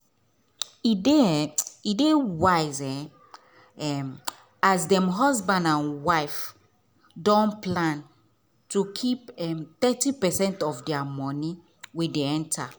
e dey um wise um as dem husband and wife don plan to keep thirty percent of dia money wey dey enter.